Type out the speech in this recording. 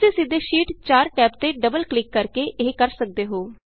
ਤੁਸੀਂ ਸਿੱਧੇ sheet 4 tab ਤੇ ਡਬਲ ਕਲਿਕ ਕਰਕੇ ਇਹ ਕਰ ਸਕਦੇ ਹੋ